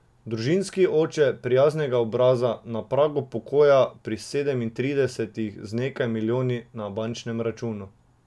Družinski oče, prijaznega obraza, na pragu pokoja pri sedemintridesetih z nekaj milijoni na bančnem računu!